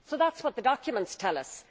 That is what the documents tell us.